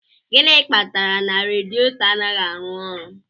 Gịnị kpatara na radiator anaghị arụ ọrụ